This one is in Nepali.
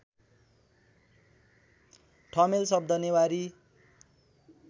ठमेल शब्द नेवारी